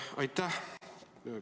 Aitäh!